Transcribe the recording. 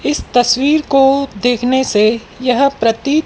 इस तस्वीर को देखने से यह प्रतित--